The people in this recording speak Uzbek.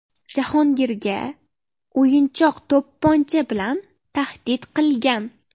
Jahongirga o‘yinchoq to‘pponcha bilan tahdid qilgan.